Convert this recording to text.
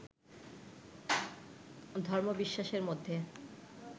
ধর্মবিশ্বাসের মধ্যে